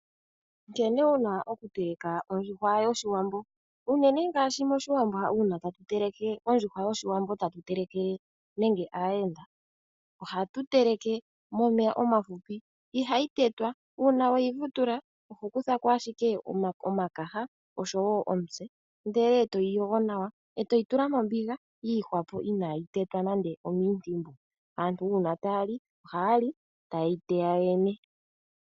Nkene wuna oku teleka ondjuhwa yoshiwambo. Unene ngaashi moshiwambo uuna tatu teleke ondjuhwa tatu telekele nenge aayenda . Ohatu teleke momeya omafupi . Ihayi tetwa , uuna weyi vutula oho kuthako ashike omakaha oshowo omitse. Ndele etoyi yogo nawa etayi tula mombiga yiihwapo iya naayi tetwa nande omiintimbu. Aantu uuna taya li, ohayali taya ye yi teya yo yene.